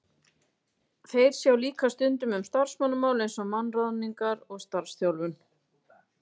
Þeir sjá líka stundum um starfsmannamál eins og mannaráðningar og starfsþjálfun.